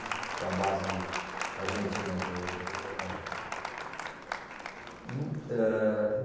Aquela base argentina do, do, da aeronáutica. Hum, Eh